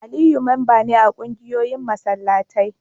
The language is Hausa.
Aliyu memba ne a kungiyoyin masallatai